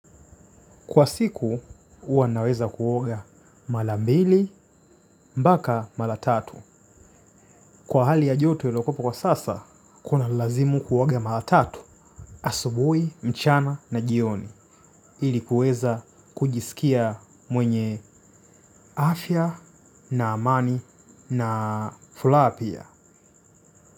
Kwa siku, huwa naweza kuoga mara mbili, mpaka mara tatu. Kwa hali ya joto ilokuwepo kwa sasa, kunanilazimu kuoga mara tatu. Asubuhi mchana na jioni ili kuweza kujisikia mwenye afya, na amani, na furaha pia.